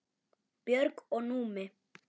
Björg og Númi.